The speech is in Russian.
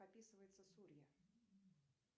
описывается сурья